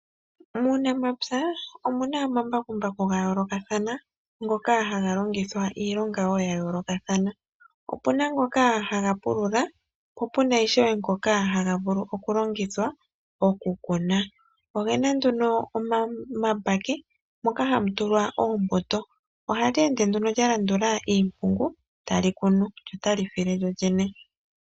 Muunamapya omuna omambakumbaku gayoolokathana ngoka haga longithwa wo iilonga yayoolokathana. Opuna ngoka haga pulula, po puna ngono ishewe haga longithwa okukuna. Go ogena nduno omambake mono hamu tulwa oombuto, ohaga ende nduno galandula iipundi, tali kunu lyo ota li file lyolyene.